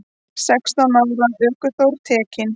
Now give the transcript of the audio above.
Sextán ára ökuþór tekinn